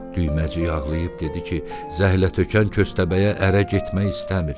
Düyməcik ağlayıb dedi ki, zəhlətökən köstəbəyə ərə getmək istəmir.